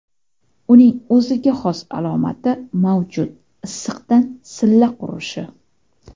Uning o‘ziga xos alomati mavjud issiqdan silla qurishi.